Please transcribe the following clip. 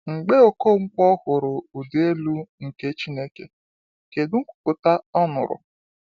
Mgbe Okonkwo hụrụ ịdị elu nke Chineke, kedu nkwupụta ọ nụrụ?